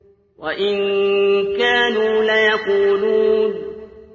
وَإِن كَانُوا لَيَقُولُونَ